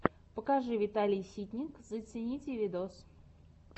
покажи виталий ситник зацените видос